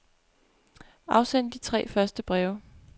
Afsend de tre første breve.